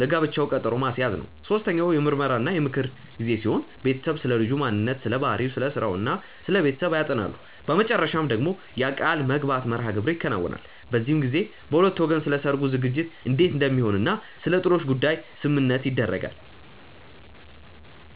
ለጋብቻው ቀጠሮ ማስያዝ ነው። ሶስተኛው የምርመራ እና የምክር ጊዜ ሲሆን ቤተሰቡ ስለልጁ ማንነት ስለባህሪው፣ ስለስራው እና ስለቤተሰቡ ያጠናሉ። በመጨረሻ ደግሞ የቃልምግባት መርሐግብር ይከናወናል። በዚህም ጊዜ በሁለቱ ወገን ስለሰርጉ ዝግጅት እንዴት እንደሚሆን እና ስለጥሎሽ ጉዳይ ስምምነት ይደረጋል።